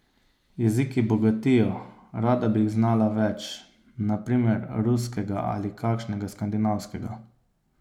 Jeziki bogatijo, rada bi jih znala več, na primer ruskega ali kakšnega skandinavskega.